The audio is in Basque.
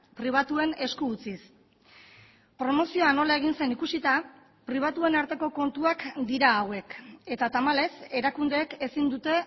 pribatuen esku utziz promozioa nola egin zen ikusita pribatuen arteko kontuak dira hauek eta tamalez erakundeek ezin dute